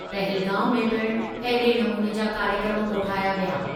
पहलगांव में पिणु अहिड़े नमूने जा कार्यक्रमु कोठाया विया।